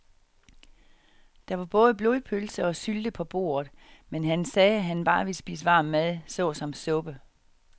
Der var både blodpølse og sylte på bordet, men han sagde, at han bare ville spise varm mad såsom suppe.